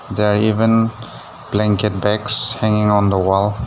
There even blanket bags hanging on the wall.